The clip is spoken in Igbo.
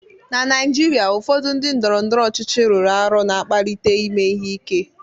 Na Naijiria, ụfọdụ ndị ndọrọndọrọ ọchịchị rụrụ arụ na-akpalite ime ihe ike